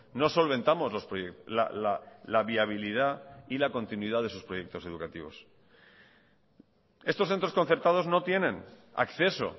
no solventamos la viabilidad y la continuidad de sus proyectos educativos estos centros concertados no tienen acceso